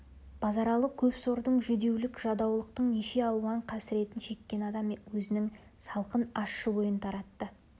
базаралы көп сордың жүдеулік-жадаулықтың неше алуан қасіретін шеккен адам өзінің салқын ащы ойын таратты